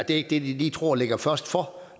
ikke lige tror ligger først for